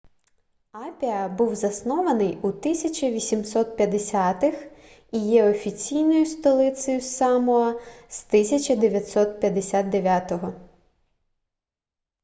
апіа був заснований у 1850-х і є офіційною столицею самоа з 1959